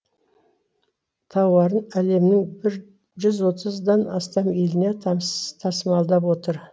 тауарын әлемнің бір жүз отыздан астам еліне тасымалдап отыр